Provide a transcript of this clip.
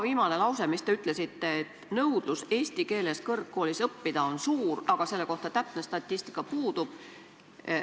Te ütlesite peaaegu viimase lausena, et nõudlus eesti keeles kõrgkoolis õppida on suur, aga selle kohta statistika puudub.